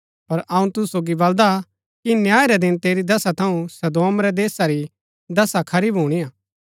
पर अऊँ तुसु सोगी बलदा कि न्याय रै दिन तेरी दशा थऊँ सदोम रै देशा री दशा खरी भुणीआ